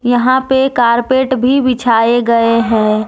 यहां पे कारपेट भी बिछाए गए है।